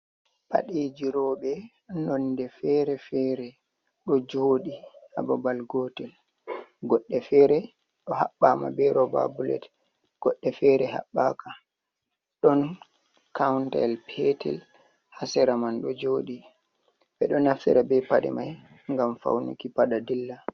Paɗeji roɓe nonde fere-fere ɗo joɗi ha babal gotel, godɗe fere ɗo habɓama be roba bullet, godɗe fere habbaka ɗon kauntel petel ha sira man ɗo joɗi ɓe ɗo nafsira be paɗe mai ngam faunuki paɗa dilla.